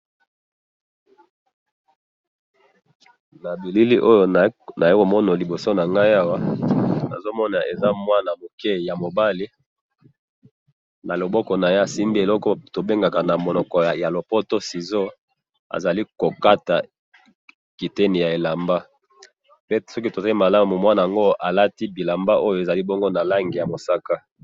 Na bilili oyo nazali komona liboso na ngai awa, nazo mona eza mwana muke ya mobali ,na loboko na ye asimbi eloko oyo tobengaka na monoko ya lopoto ciseau ,azali kokata kiteni ya elamba pe soki totali malamu mwana'ngo alati bilamba oyo ezali bongo na langi ya mosaka